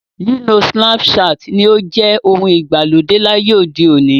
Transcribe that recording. Lílo Snapchat ni ó ń jẹ ohun ìgbàlódé láyé òde òní.